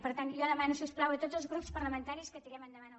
per tant jo demano si us plau a tots els grups parlamentaris que tirem endavant el